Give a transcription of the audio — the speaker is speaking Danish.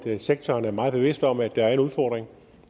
sektoren er meget bevidst om at der er en udfordring og